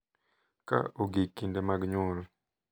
Ka ogik kinde mag nyuol,